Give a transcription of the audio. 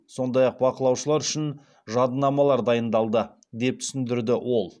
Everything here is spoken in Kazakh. сондай ақ бақылаушылар үшін жадынамалар дайындалды деп түсіндірді ол